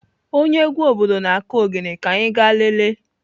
Onye egwu obodo na-kụ ogene ka anyi ga lelee.